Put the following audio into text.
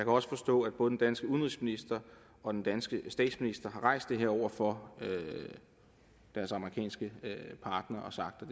også forstå at både den danske udenrigsminister og den danske statsminister har rejst det her over for deres amerikanske partnere og sagt at